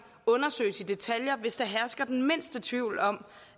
undersøges i detaljer hvis der hersker den mindste tvivl om